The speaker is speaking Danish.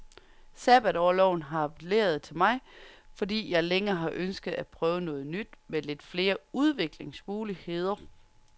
Sabbatorloven har appelleret til mig, fordi jeg længe har ønsket at prøve noget nyt med lidt flere udviklingsmuligheder.